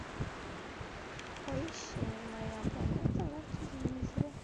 поищи моя планета на телевизоре